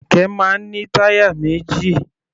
Kẹ̀kẹ́ máa ń ní táyà méjì.